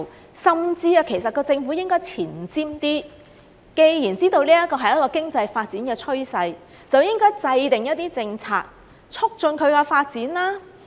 其實，政府甚至應該前瞻一些，既然知道這是一個經濟發展的趨勢，就應該制訂一些政策，促進其發展。